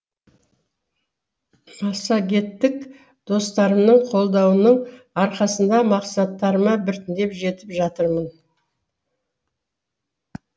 массагеттік достарымның қолдауының арқасында мақсаттарыма біртіндеп жетіп жатырмын